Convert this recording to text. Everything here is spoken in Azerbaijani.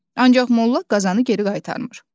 Ancaq Molla qazanı geri qaytarmır.